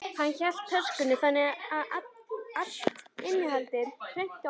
Hann hélt töskunni þannig að allt innihaldið hrundi á gólfið.